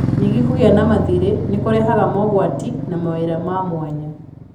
Ningĩ kũgĩa na mathiirĩ nĩ kũrehaga mogwati na mawĩra ma mwanya.